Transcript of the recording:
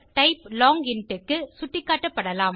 type long int க்கு சுட்டிக்காட்டப்படலாம்